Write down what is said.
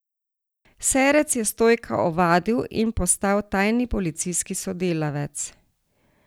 Serec je Stojka ovadil in postal tajni policijski sodelavec.